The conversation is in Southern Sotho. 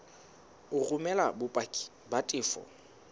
o romele bopaki ba tefo